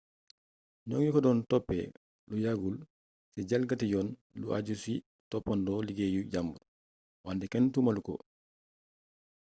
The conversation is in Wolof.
ñoŋi ko doon toppë lu yàggul ci jalgati yoon lu ajju ci toppandoo liggéeyu jambur wante kenn tuumalu ko